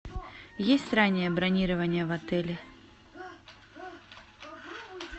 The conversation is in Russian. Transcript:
есть раннее бронирование в отеле